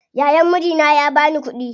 Yayan mijina ya bani kuɗi